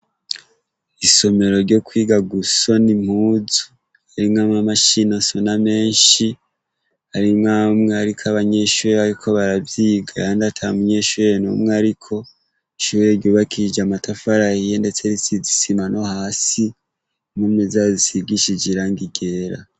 Isomero ryo kwiga gusoni mpuzu arimwamwe amashino sona menshi arimwoamwe, ariko abanyenshurira yuko baravyigayandata munyenshurere n'umwe, ariko siwe ryubakije amatafarah iye, ndetse ritsizisima no hasi imume zazisigishije irangigera.